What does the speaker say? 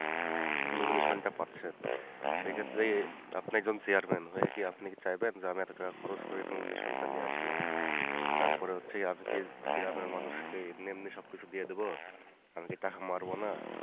Nomination টা পাচ্ছেন, সেক্ষেত্রে আপনি একজন chairman হয়ে কি আপনি কি চাইবেন যে আমি এত টাকা খরচ করে Nomination টা নিয়ে আসলাম